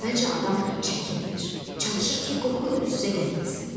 Əvvəlcə adam çəkinir, çalışır ki, qorxu ilə üz-üzə gəlməsin.